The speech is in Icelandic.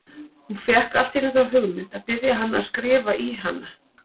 Hún fékk allt í einu þá hugmynd að biðja hann að skrifa í hana!